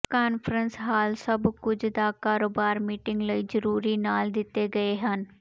conference hall ਸਭ ਕੁਝ ਦਾ ਕਾਰੋਬਾਰ ਮੀਟਿੰਗ ਲਈ ਜ਼ਰੂਰੀ ਨਾਲ ਦਿੱਤੇ ਗਏ ਹਨ